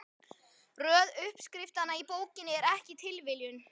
Röð uppskriftanna í bókinni er ekki tilviljun.